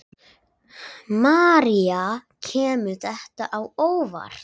María: Kemur þetta á óvart?